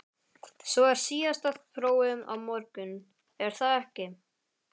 Svo er síðasta prófið á morgun, er það ekki?